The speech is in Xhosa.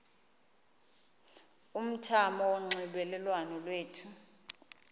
umthamo wonxielelwano lwethu